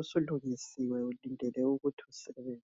usulungisiwe ulindele ukuthi usebenze